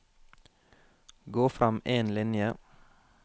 Gå frem én linje